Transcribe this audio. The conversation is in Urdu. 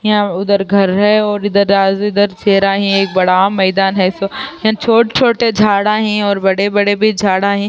یہاں ادھر گھر ہے اور ادھر ہے۔ ایک بڑا میدان ہے۔ سو یہاں چھوٹ-چھوٹ جھادہ ہے اور بڑے-بڑے بھی جھادہ ہے۔